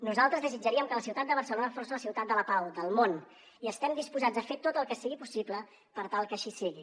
nosaltres desitjaríem que la ciutat de barcelona fos la ciutat de la pau del món i estem disposats a fer tot el que sigui possible per tal que així sigui